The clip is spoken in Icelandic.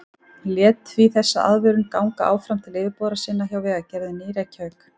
Hann lét því þessa aðvörun ganga áfram til yfirboðara sinna hjá Vegagerðinni í Reykjavík.